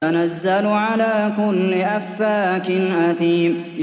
تَنَزَّلُ عَلَىٰ كُلِّ أَفَّاكٍ أَثِيمٍ